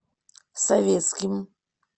советским